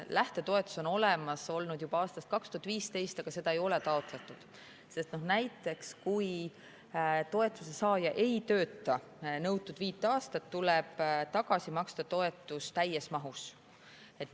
Lähtetoetus on olemas olnud juba aastast 2015, aga seda ei ole taotletud, sest näiteks kui toetuse saaja ei tööta nõutud viis aastat, tuleb toetus tagasi maksta täies mahus.